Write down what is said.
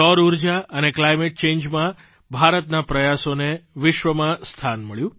સૌર ઊર્જા અને કલાઇમેન્ટ ચેન્જમાં ભારતના પ્રયાસોને વિશ્વમાં સ્થાન મળ્યું